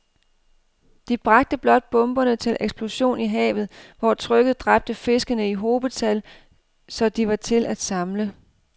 De bragte blot bomberne til eksplosion i havet, hvor trykket dræbte fiskene i hobetal, så de var til at samle